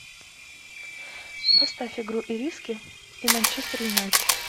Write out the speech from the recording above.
поставь игру ириски и манчестер юнайтед